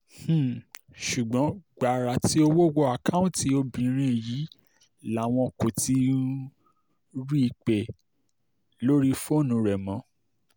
um ṣùgbọ́n gbàrà tí owó wọ àkáùntì obìnrin yìí làwọn kò ti um rí i pé lórí fóònù rẹ̀ mọ́